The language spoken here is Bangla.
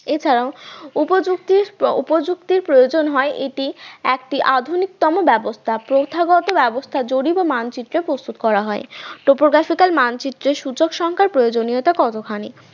এছাড়া উপযুক্তির উপযুক্তির প্রয়োজন হয় এটি একটি আধুনিকতম ব্যবস্থা প্রথাগত ব্যবস্থা জরিপ ও মানচিত্রের প্রস্তুত করা হয়, প্রকাশিকার মানচিত্রে সূচক সংখ্যার প্রয়োজনীয়তা কতখানি